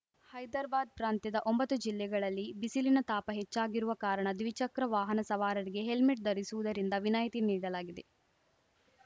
ಹೈದರ್ಬಾದ್‌ ಪ್ರಾಂತ್ಯದ ಒಂಬತ್ತು ಜಿಲ್ಲೆಗಳಲ್ಲಿ ಬಿಸಿಲಿನ ತಾಪ ಹೆಚ್ಚಾಗಿರುವ ಕಾರಣ ದ್ವಿಚಕ್ರ ವಾಹನ ಸವಾರರಿಗೆ ಹೆಲ್ಮೆಟ್‌ ಧರಿಸುವುದರಿಂದ ವಿನಾಯಿತಿ ನೀಡಲಾಗಿದೆ